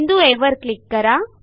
बिंदू आ वर क्लिक करा